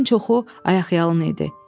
Onların çoxu ayaqyalın idi.